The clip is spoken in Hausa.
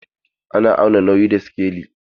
Ana auna nauyi da sikeli.